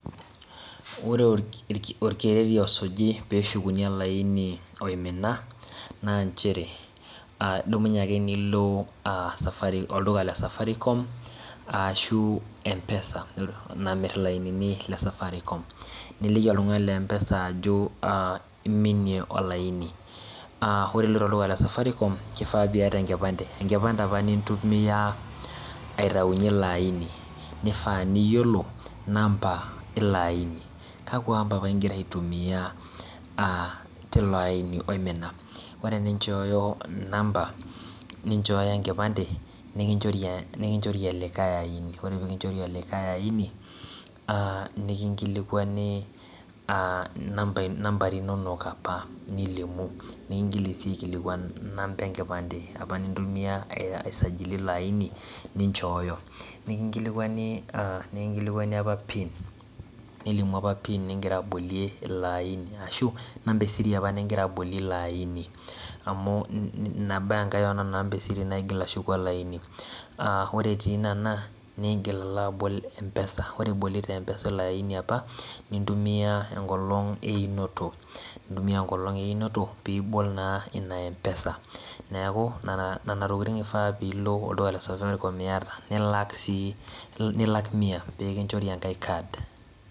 Ore orkereri osuji peahukuni olaini oimina na nchere kedumunye ame nilo safaricom, olduka le Safaricom ashu empesa namir ilainini le Safaricom niko oltungani le empesa neaku iminie olaini, ore iloitoolduka le Safaricom kifaapiata enkipande, enkipande aoa nintumia aitaunye ilo aini, nifaa piyiolo namba ilo aini ,kakwa amba apa ingira aitumia a tilo aini oimina ore pinchooyo namba nichooyo enkipande nikinchori olikae aini ore pekichorii olikae aini nimingilikwani nambari inonok apa nikingili si aikilikuannamba enkipande ninchoyo nikingilikwani apa pin nilimuapa pin ningira abolie ilo aini ashu namba esiri apa ningira abolie ilo aini amu inabaa ake onana namba naigil ashuku eleaini aa ore etii kuna nigil alo abol empesa, ore ibloto enpesa elde likae aini nintumia enkolong einoto pibol naa inaempesa neaku nona tokitin ifaa piya olduka le Safaricom nilak sii mia pekinchori enkae kad.